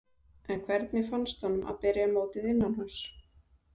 En hvernig fannst honum að byrja mótið innanhúss?